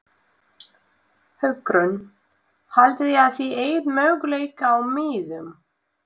Hugrún: Haldið þið að þið eigið möguleika á miðum?